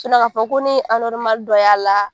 k'a fɔ ko ne ye dɔ y'a la.